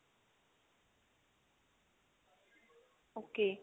okay